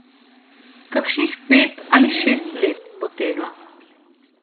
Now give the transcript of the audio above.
Kakšnih pet ali šest let bo tega.